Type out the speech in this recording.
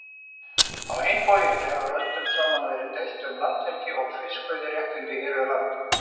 Á hinn bóginn hefur öldum saman verið deilt um landhelgi og fiskveiðiréttindi hér við land.